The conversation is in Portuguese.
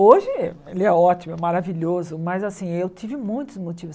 Hoje ele é ótimo, é maravilhoso, mas assim, eu tive muitos motivos.